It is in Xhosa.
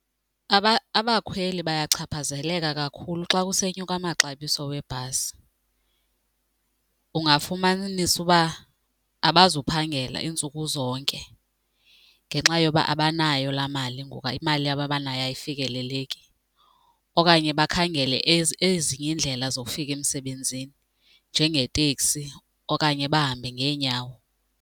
Abakhweli bayachaphazeleka kakhulu xa kusenyuka amaxabiso webhasi. Ungafumanisa ukuba abazuphangela iintsuku zonke ngenxa yoba abanayo laa mali ngoku imali yabo abanayo ayifikeleleki okanye bakhangele ezinye iindlela zokufika emsebenzini njengeteksi okanye bahambe ngeenyawo.